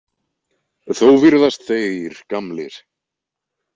Þó virðast þeir gamlir.